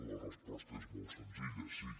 la resposta és molt senzilla sí